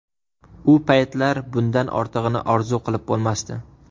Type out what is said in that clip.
U paytlar bundan ortig‘ini orzu qilib bo‘lmasdi.